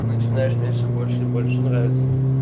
ты начинаешь мне все больше и больше нравиться